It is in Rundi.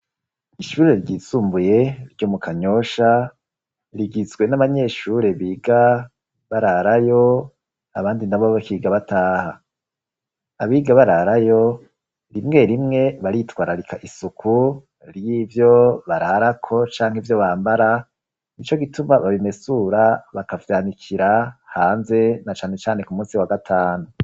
Ishuri ryisumbuye ryo mu Kanyosha rigizwe n'abanyeshure biga bararayo abandi na bo bakiga bataha. Abiga bararayo rimwe rimwe baritwararika isuku ry'ivyo bararako canke ivyo bambara, nico gituma babimesura bakavyanikira hanze na cane cane ku munsi wa gatanu.